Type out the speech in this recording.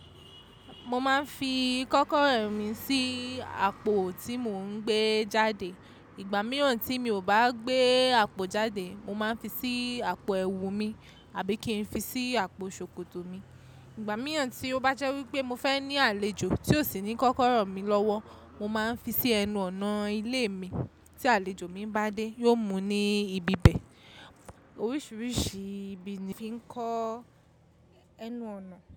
Mo máa ń fi kọ́kọ́rọ́ mi sí àpò tí mò ń gbé jáde. Ìgbà mìíràn tí mi ò bá gbé àpò jáde, mo máa ń fi sí àpò ẹ̀wù mi àbí kí n fi sí àpò ṣòkòtò mi. Ìgbà mìíràn tí ó bá jẹ́ wípé mo fẹ́ ní àlejò tí ó sì ní kọ́kọ́rọ́ mi lọ́wọ́, mo máa ń fi sí ẹnu ọ̀nà ilé mi. Tí àlejò mi bá dé, yóò mú ní ibi bẹ̀. Oríṣiríṣi ibi ni fi ń kó ẹnu ọ̀nà.